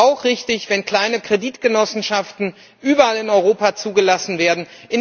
Es ist auch richtig, wenn kleine Kreditgenossenschaften überall in Europa zugelassen werden.